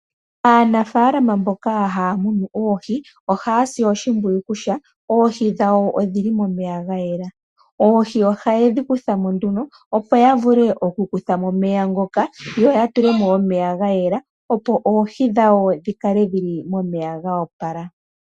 Aanafaalama mboka haya munu oohi ohaya si oshimpwiyu kutya oohi dhawo odhi li momeya gayela, oohi ohaye dhi kuthamo , opo yavule okukutha mo omeya ngoka , yo yatule mo omeya gayela , opo oohi dhawo dhikale dhili momeya gayela.